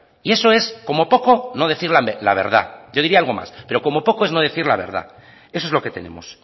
y eso es como poco no decir la verdad yo diría algo más pero como poco es no decir la verdad eso es lo que tenemos